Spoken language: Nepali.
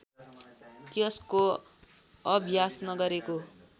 त्यसको अभ्यास नगरेको